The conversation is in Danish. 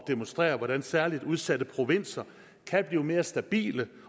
demonstrere hvordan særlig udsatte provinser kan blive mere stabile